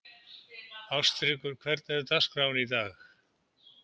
Ástríkur, hvernig er dagskráin í dag?